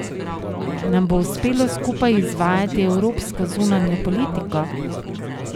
Nam bo uspelo skupaj izvajati evropsko zunanjo politiko?